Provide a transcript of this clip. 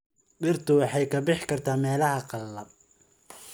Dhirtu waxay ka bixi kartaa meelaha qalalan.